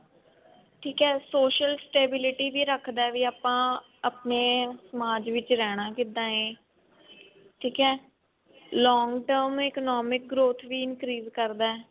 ਠੀਕ ਹੈ social stability ਵੀ ਰੱਖਦਾ ਵੀ ਆਪਾਂ ਆਪਣੇ ਸਮਾਜ ਵਿੱਚ ਰਹਿਣਾ ਕਿੱਦਾਂ ਹੈ ਠੀਕ ਹੈ long term economic growth ਵੀ increase ਕਰਦਾ